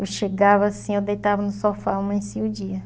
Eu chegava assim, eu deitava no sofá, amanhecia o dia.